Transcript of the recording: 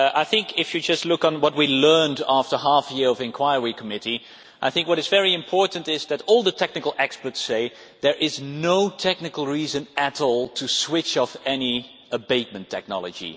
I think if you just look at what we learned after half a year of the committee of inquiry, what is very important is that all the technical experts say there is no technical reason at all to switch off any abatement technology.